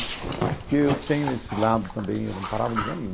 Porque eu tenho esse lado também, eu não parava em lugar nenhum.